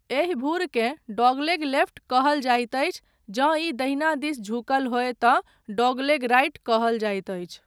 एहि भूरकेँ 'dogleg left' कहल जाइत अछि जँ ई दहिना दिस झुकल होय तँ 'डॉगलेग राइट' कहल जाइत अछि।